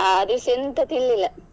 ಆ ದಿವ್ಸ ಎಂತ ತಿನ್ಲಿಲ್ಲ.